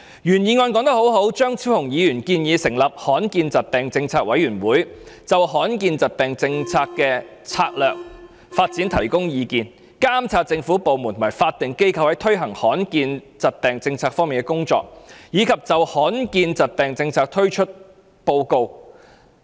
原議案說得很好，張超雄議員建議成立罕見疾病政策委員會，就罕見疾病政策的策略性發展方向提供建議、監察政府部門及法定機構在推行罕見疾病政策方面的工作，以及就罕見疾病政策的推行作出報告等。